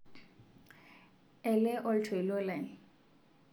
ele oltoilo lai